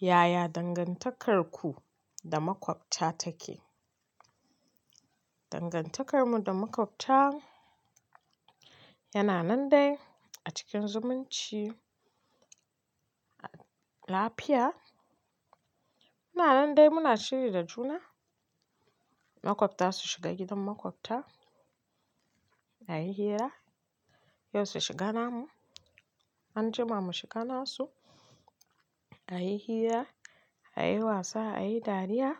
Yaya dangantakarku da makwabta take? Dangantakarmu da makwabta yana nan dai a cikin zumunci, lafiya. Muna nan dai muna shiri da juna. Makwabta su shiga gidan makwabta, a yi hira, yau su shiga namu, anjima mu shiga nasu, a yi hira, a yi wasa, a yi dariya,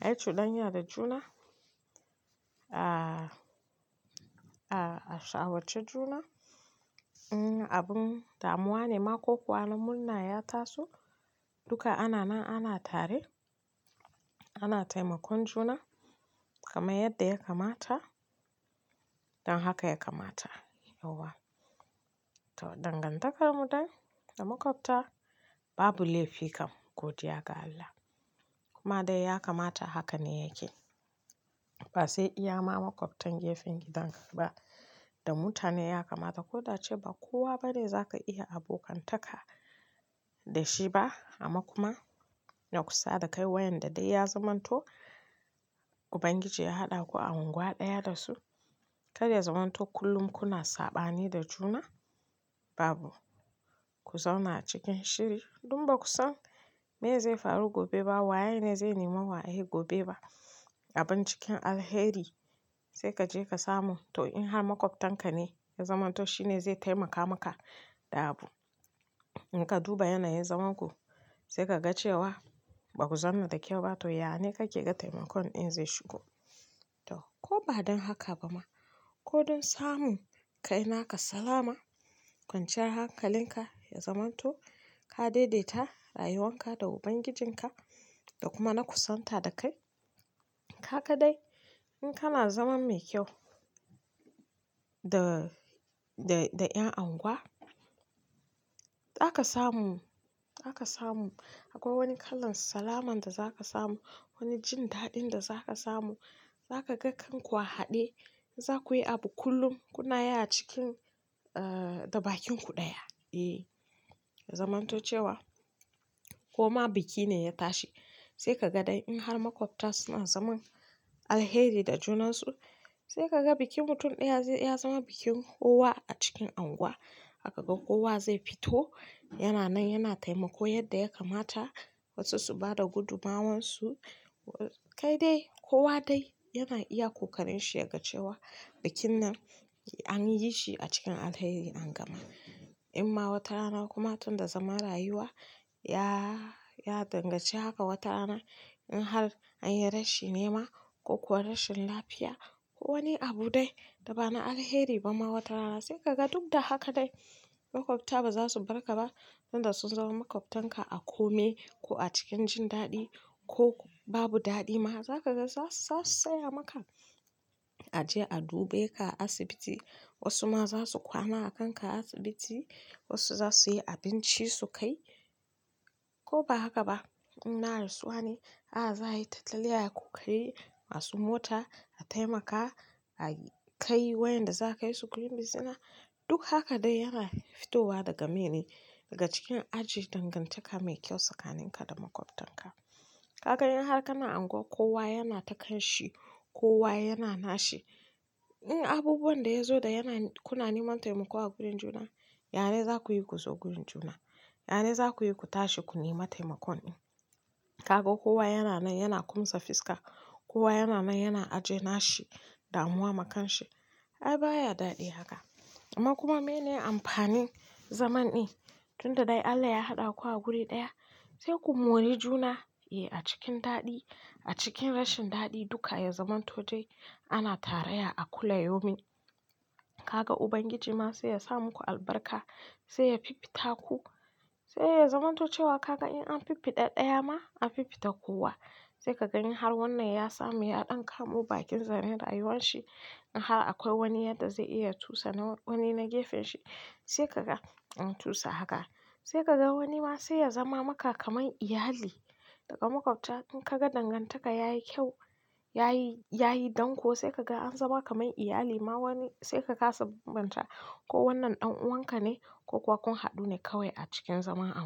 a yi cuɗanya da juna, a shawarci juna. In abun damuwa ne ma ko kuwa na murna ya taso, duka ana nan ana tare, ana taimakon juna kamar yadda ya kamata don haka ya kamata yauwa. To, dangantakarmu dai da makwabta babu laifi kam godiya ga Allah. Kuma dai ya kamata haka ne yake. Ba sai iya ma makwabtan gefen gidanka ba da mutane ya kamata. Ko da ace ba kowa ba ne za ka iya abokantaka da shi ba amma kuma na kusa da kai wa in da dai ya zamanto Ubangiji ya haɗa ku a unguwa ɗaya da su. Ka da ya zamanto kullum kuna saɓani da juna, babu ku zauna cikin shiri don ba ku san miye zai faru gobe ba waye ne zai nemi waye ne gobe ba. Abin cikin alheri sai ka je ka samu. To in har makwabtanka ne ya zamanto shi ne zai taimaka maka da abu. In ka duba yanayin zaman ku sai ka ga cewa ba ku zauna da kyau ba to ya ne kake ga taimakon ɗin zai shigo. To ko ba don haka ba ma ko don samun kai naka salama kwanciyar hankalinka ya zamanto ka daidaita rayuwan ka da Ubangijinka da kuma na kusan ta da kai. Haka dai in kana zaman mai kyau da, da, da ƴan unguwa, za ka samu, za ka samu akwai wani kalan salaman da za ka samu, wani jin daɗin da za ka samu. Za ka ga kanku a haɗe za ku yi abu kullum kuna yi a cikin, eh, da bakinku ɗaya. Eh, zamanto cewa koma biki ne ya tashi sai ka ga dai in har makwabta suna zaman alheri da junansu sai ka ga bikin mutum ɗaya ya zama bikin kowa a cikin anguwa. Za ka ga kowa zai fito yana nan yana taimako yadda ya kamata wasu su ba da gudummawarsu. Kai dai kowa dai yana iya ƙoƙarin shi ya ga cewa bikin nan an yi shi a cikin alheri an gama. In ma wata rana kuma tun da zaman rayuwa ya, ya danganci haka wata rana in har an yi rashi nema ko kuwa rashin lafiya ko wani abu dai da ba na alheri ba ma wata rana sai ka ga duk da haka dai makwabta ba za su barka ba. Tun da sun zama makwabtanka a kome ko a cikin jin daɗi ko babu daɗi ma za ka ga za su, za su tsaya maka a je a dube ka asibiti. Wasu ma za su kwana a kanka asibiti wasu za su yi abinci su kai ko ba haka ba in na rasuwa ne ah ah za a yi tattali ayi ƙoƙari masu mota a taimaka a kai wa 'yan da za a kai su gurin bizina. Duk haka dai yana fitowa daga miye ne daga cikin aji dangantaka mai kyau tsakanin ka da makwabtan ka. Kaga in har kana anguwa kowa yana ta kanshi kowa yana nashi in abubuwan da ya zo da yana kuna neman taimako a gurin juna, ya ne za ku yi ku zo gurin juna, ya ne za ku yi ku tashi ku nemi taimakon ɗin. Ka ga kowa yana nan yana kumsa fiska kowa yana nan yana aje nashi damuwa makanshi. Ai baya daɗi haka amma kuma miye ne amfanin zaman ɗin tun da dai Allah ya haɗa ku a guri ɗaya sai ku mori juna eh a cikin daɗi a cikin rashin daɗi duka ya zamanto dai ana tarayya a kulla yaumin. Ka ga Ubangiji ma sai ya sa muku albarka sai ya fifita ku. Sai ya zamanto cewa ka ga in an fifita ɗaya ma an fifita kowa. Sai ka ga in har wannan ya samu ya ɗan kamu bakinsa ne rayuwanshi in har akwai wani yadda zai iya cusa na wani na gefen shi sai ka ga an cusa haka. Sai ka ga wani ma sai ya zama maka kamar iyali daga makwabta in ka ga dangantaka yayi kyau yayi, yayi danƙo sai ka ga an zama kamar iyali ma wani sai ka kasa bambanta ko wannan ɗan'uwanka ne ko kuwa kun haɗu ne kawai a cikin zama a unguwa.